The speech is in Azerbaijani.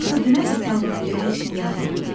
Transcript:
Axı dünən də sən buna görə heç nə yazmadın.